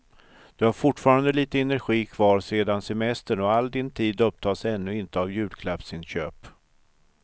Du har fortfarande lite energi kvar sedan semestern och all din tid upptas ännu inte av julklappsinköp.